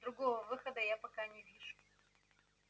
другого выхода я пока не вижу